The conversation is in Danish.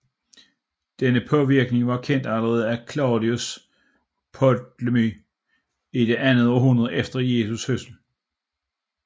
Denne påvirkning var kendt allerede af Claudius Ptolemy i det andet århundrede efter Jesu fødsel